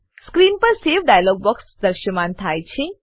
screen પર save dialogue box દ્રશ્યમાન થાય છે